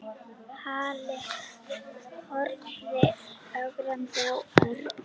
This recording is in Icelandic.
Halli horfði ögrandi á Örn.